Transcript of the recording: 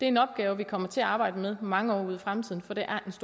en opgave vi kommer til at arbejde med mange år ud i fremtiden for det